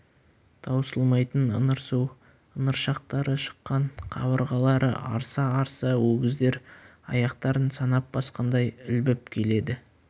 таусылмайтын ыңырсу ыңыршақтары шыққан қабырғалары арса-арса өгіздер аяқтарын санап басқандай ілбіп келеді